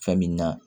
Fɛn min na